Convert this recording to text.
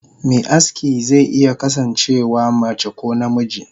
Me aski ze iya kasan cewa mace ko namiji.